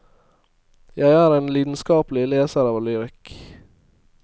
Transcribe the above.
Jeg er en lidenskapelig leser av lyrikk.